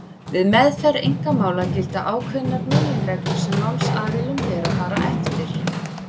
Við meðferð einkamála gilda ákveðnar meginreglur sem málsaðilum ber að fara eftir.